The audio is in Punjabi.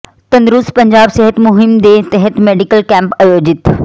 ਤੰਦਰੁਸਤ ਪੰਜਾਬ ਸਿਹਤ ਮੁਹਿੰਮ ਦੇ ਤਹਿਤ ਮੈਡੀਕਲ ਕੈਂਪ ਆਯੋਜਿਤ